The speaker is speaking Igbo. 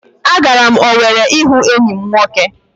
Agara m Owere ịga hụ enyi m nwoke